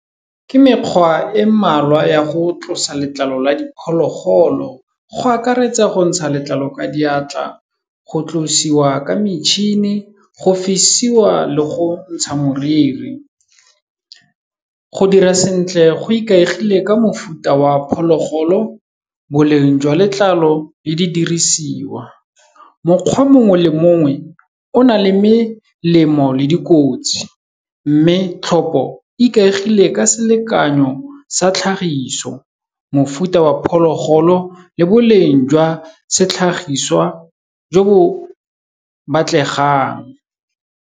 Ke mekgwa e malwa ya go tlosa letlalo la diphologolo, go akaretsa go ntsha letlalo ka diatla, go tlosiwa ka metšhini, go fisiwa le go ntsha moriri, go dira sentle go ikaegile ka mofuta wa phologolo, boleng jwa letlalo le di dirisiwa. Mokgwa mongwe le mongwe o na le melemo le dikotsi, mme tlhopo ikaegile ka selekanyo sa tlhagiso, mofuta wa phologolo le boleng jwa setlhagiswa jo bo batlegang.